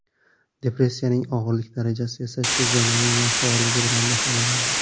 Depressiyaning og‘irlik darajasi esa shu zonaning nofaolligi bilan baholanadi.